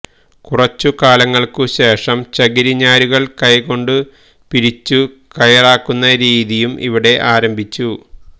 കുറച്ചു കാലങ്ങള്ക്കു ശേഷം ചകിരി ഞാരുകള് കൈകൊണ്ടു പിരിച്ചു കയറാക്കുന്ന രീതിയും ഇവിടെ ആരംഭിച്ചു